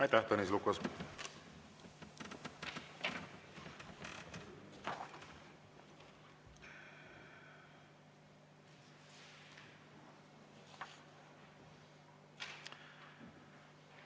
Aitäh, Tõnis Lukas!